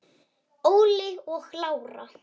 Óli og Lára.